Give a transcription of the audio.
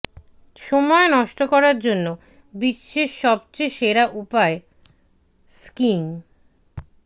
সময় নষ্ট করার জন্য বিশ্বের সবচেয়ে সেরা উপায় স্কিইং